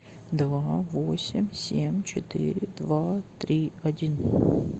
два восемь семь четыре два три один